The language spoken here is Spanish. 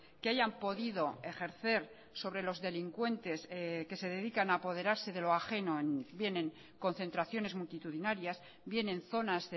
que hayan podido ejercer sobre los delincuentes que se dedican a apoderarse de lo ajeno bien en concentraciones multitudinarias bien en zonas